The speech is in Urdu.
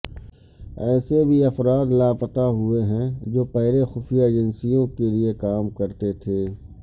ایسے بھی افراد لاپتہ ہوئے ہیں جو پہلے خفیہ ایجنسیوں کے لیے کام کرتے تھے